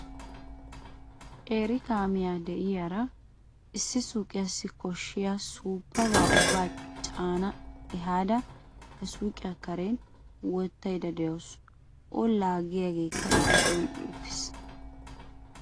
qeeri kaamiyaa de'iyaara issi suuqiyassi koshshiyaa suuppaba ubba caana ehada he suuqqiya karen wottaydda de'awus. o laagiyaageekka I giddon uttiis.